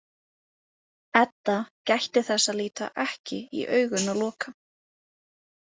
Edda gætti þess að líta ekki í augun á Loka.